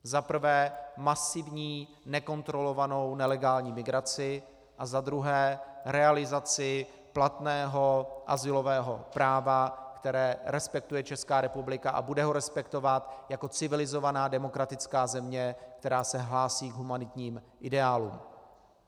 Za prvé masivní nekontrolovanou nelegální migraci a za druhé realizaci platného azylového práva, které respektuje Česká republika, a bude ho respektovat jako civilizovaná demokratická země, která se hlásí k humanitním ideálům.